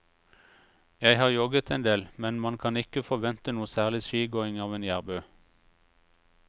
Jeg har jogget en del, men man kan ikke forvente noe særlig skigåing av en jærbu.